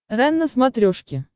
рен на смотрешке